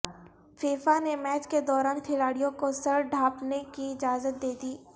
FIFA نے match کے دوران کھلاڑیوں کو سر ڈھانپنے کی اجازت دے دی